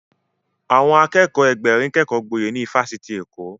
Àwọn Akẹ́kọ̀ọ́ Ẹgbẹ̀rin kékọ gboyè ní ifásitì Èkó